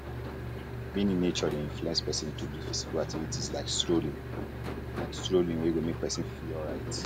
being in nature de inflence persin to do physical activities like strolling like strolling we go make persin feel alright